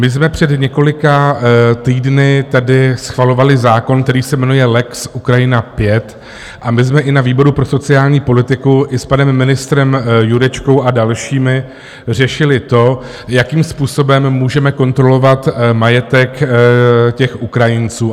My jsme před několika týdny tady schvalovali zákon, který se jmenuje lex Ukrajina 5, a my jsme i na výboru pro sociální politiku i s panem ministrem Jurečkou a dalšími řešili to, jakým způsobem můžeme kontrolovat majetek těch Ukrajinců.